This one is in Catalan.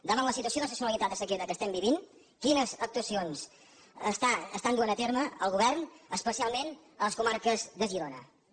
davant la situació d’excepcionalitat de sequera que estem vivint quines actuacions està duent a terme el govern especialment a les comarques de girona moltes gràcies